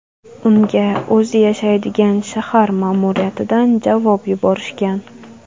Unga o‘zi yashaydigan shahar ma’muriyatidan javob yuborishgan.